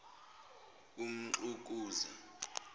umxukuza